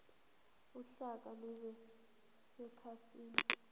uhlaka lube sekhasini